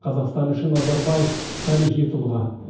қазақстан үшін назарбаев тарихи тұлға